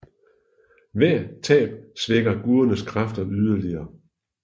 Hvert tab svækker gudernes kræfter yderligere